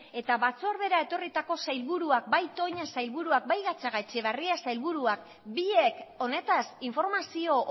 eta batzordera etorritako sailburuak bai toña sailburuak bai gatzagaetxebarria sailburuak biek honetaz informazio